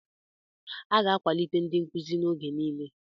A ga-akwalite ndị nkuzi oge niile.